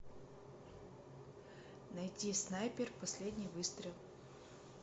найти снайпер последний выстрел